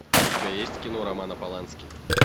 у тебя есть кино романа полански